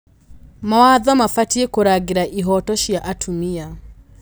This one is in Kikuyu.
Mawatho mabatiĩ kũrangĩra ihooto cia atumia.